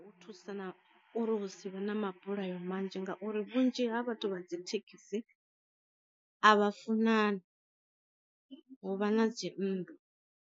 U thusa na uri hu sivhe na mabulayo manzhi ngauri vhunzhi ha vhathu vha dzi thekhisi, a vha funani hu vha na dzi nndwa.